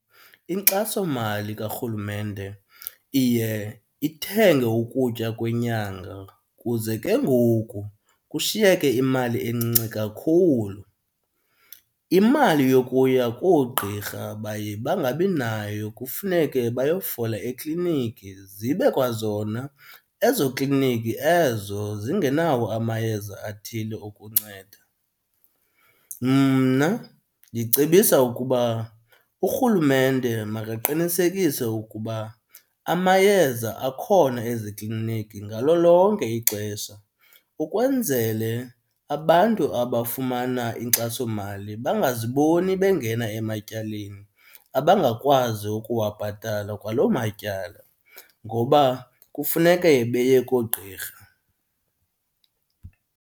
Inkxasomali karhulumente iye ithenge ukutya kwenyanga kuze ke ngoku kushiyeke imali encinci kakhulu. Imali yokuya koogqirha baye bangabi nayo kufuneke bayofuna ekliniki, zibe kwazona ezo kliniki ezo zingenawo amayeza athile okunceda. Mna ndicebisa ukuba urhulumente makaqinisekise ukuba amayeza akhona ezikliniki ngalo lonke ixesha ukwenzele abantu abafumana inkxasomali bangaziboni bengena ematyaleni, abangakwazi ukuwabhatala kwaloo matyala ngoba kufuneke beye koogqirha.